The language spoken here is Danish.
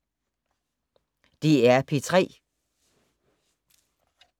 DR P3